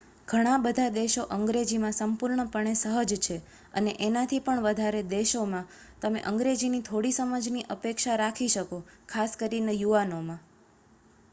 ઘણા બધા દેશો અંગ્રેજીમાં સંપૂર્ણપણે સહજ છે અને એનાથી પણ વધારે દેશોમાં તમે અંગ્રેજીની થોડી સમજની અપેક્ષા રાખી શકો ખાસ કરીને યુવાનોમાં